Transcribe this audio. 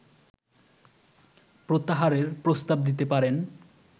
প্রত্যাহারের প্রস্তাব দিতে পারেন